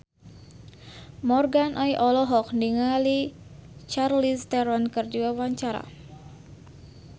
Morgan Oey olohok ningali Charlize Theron keur diwawancara